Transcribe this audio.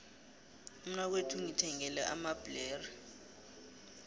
umnakwethu ungithengele amabhlere